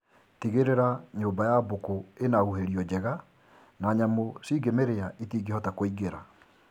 Tigĩrĩra nyũmba ya mbũkũ ĩna huhĩrio njega na nyamũ cingĩmĩrĩa itingĩhota kũingĩra